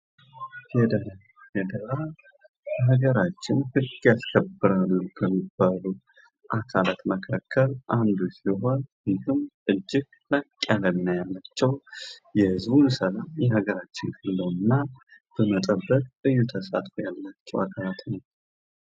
ፌደራል፦ ፌደራል በሀገራችን ህግ ያስከብራሉ ከሚባሉ አካላት መካከል አንዱ ሲሆን እጅግ ለጥ ያላቸው የህዝቡን ሰላም በሀገራች ሆነው እና በመጠበቅ ልዩ ተሳትፎ ያላቸው